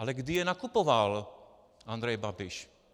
Ale kdy je nakupoval Andrej Babiš?